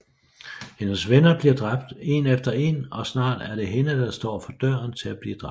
Hendes venner bliver dræbt en efter en og snart er det hende der står for døren til at blive dræbt